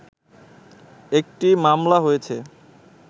একটি মামলা হয়েছে